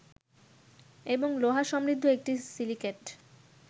এবং লোহা সমৃদ্ধ একটি সিলিকেট